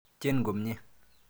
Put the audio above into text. Tyen komnye.